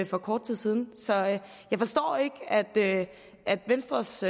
for kort tid siden så jeg forstår ikke at venstres